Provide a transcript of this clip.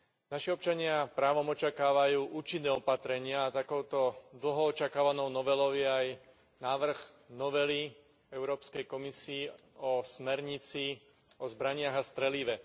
Naši občania právom očakávajú účinné opatrenia a takouto dlho očakávanou novelou je aj návrh novely Európskej komisie o smernici o zbraniach a strelive.